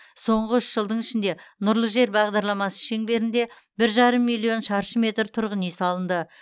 соңғы үш жылдың ішінде нұрлы жер бағдарламасы шеңберінде бір жарым миллион шаршы метр тұрғын үй салынды